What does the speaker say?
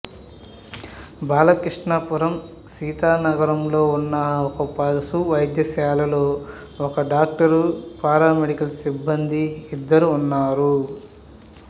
బాలకృష్ణాపురం సీతానగరంలో ఉన్న ఒక పశు వైద్యశాలలో ఒక డాక్టరు పారామెడికల్ సిబ్బంది ఇద్దరు ఉన్నారు